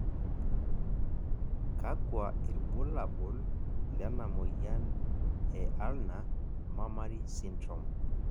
kakua irbulabol lena moyian e Ulnar mammary syndrome?